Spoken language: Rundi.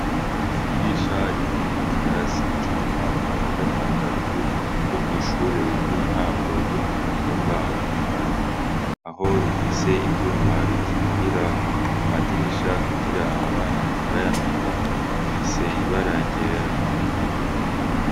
Idirisha riri kukirasi co mumwaka wa gatandatu ryo kwishure ry’intango ryo kumutumba wa Mugano aho rifise ivyuma bikingira amadirisha kugira abana ntibayamene rifise ibara ryera.